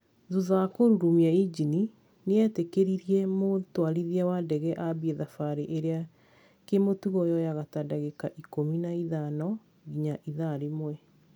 Thutha wa kũrurumia injini nĩ etĩkĩririe mũtwarithia wa ndege ambie thabarĩ ĩrĩa kĩmũtugo yoyaga ta ndagĩka ikũmi na ithano nginya ithaa rĩmwe